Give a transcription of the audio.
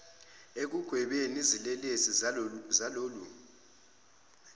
ekugwebeni izelelesi zalolu